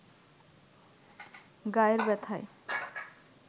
গায়ের ব্যাথায়